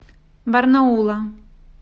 барнаула